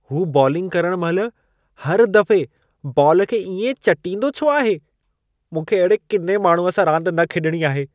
हू बॉलिंग करण महिल, हर दफ़े बॉल खे इएं चटींदो छो आहे? मूंखे अहिड़े किने माण्हूअ सां रांदि न खेॾिणी आहे।